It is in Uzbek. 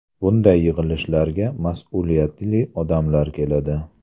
Bunday yig‘ilishlarga mas’uliyatli odamlar keladi.